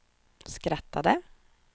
skrattade